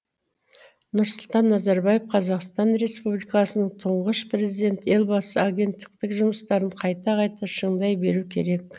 нұрсұлтан назарбаев қазақстан республикасының тұңғыш президенті елбасы агенттіктің жұмыстарын қайта қайта шыңдай беру керек